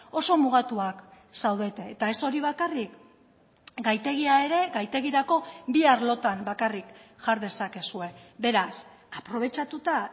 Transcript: oso mugatuak zaudete eta ez hori bakarrik gaitegia ere gaitegirako bi arlotan bakarrik jar dezakezue beraz aprobetxatuta